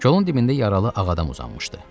Kolun dibində yaralı ağ adam uzanmışdı.